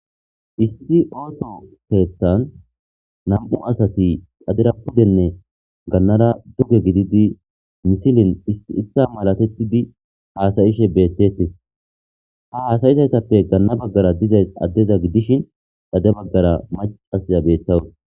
issi ooto keetan nam7u asati xadira pudenne gannara duge gididi misilin issi issa malatetti di haasayishe beettete ha haasayizaytappe ganna baggara diza addeza gidishin dade baggara macasya bettawus